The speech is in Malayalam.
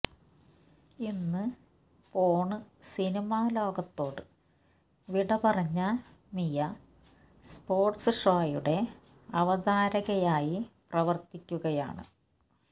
ഇന്ന് പോണ്സിനിമാ ലോകത്തോട് വിട പറഞ്ഞ മിയ സ്പോര്ട്സ് ഷോയുടെ അവതാരകയായി പ്രവര്ത്തിക്കുകയാണ്